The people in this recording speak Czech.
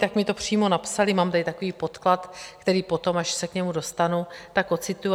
Tak mi to přímo napsali, mám tady takový podklad, který potom, až se k němu dostanu, tak ocituji.